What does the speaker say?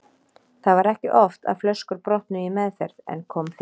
Það var ekki oft að flöskur brotnuðu í meðferð en kom fyrir.